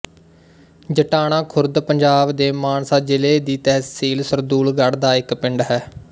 ਜਟਾਣਾ ਖੁਰਦ ਪੰਜਾਬ ਦੇ ਮਾਨਸਾ ਜ਼ਿਲ੍ਹੇ ਦੀ ਤਹਿਸੀਲ ਸਰਦੂਲਗੜ੍ਹ ਦਾ ਇੱਕ ਪਿੰਡ ਹੈ